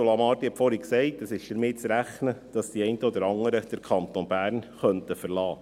Ursula Marti hat vorhin gesagt, dass damit zu rechnen ist, dass die einen oder anderen den Kanton Bern verlassen könnten.